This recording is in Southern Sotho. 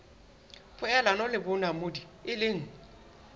poelano le bonamodi e leng